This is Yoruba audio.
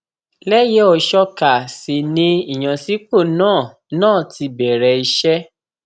lẹyẹòṣọká sì ni ìyànsípò náà náà ti bẹrẹ iṣẹ